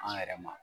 An yɛrɛ ma